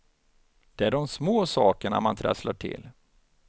Det är de små sakerna man trasslar till.